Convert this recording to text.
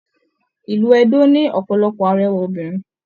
Ilú Ẹdó ní ọpọlọpọ arẹwà obìnrin.